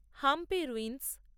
Hampi ruins